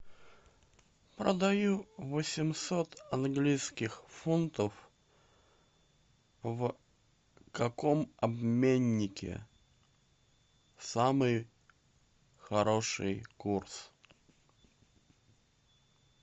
продаю восемьсот английских фунтов в каком обменнике самый хороший курс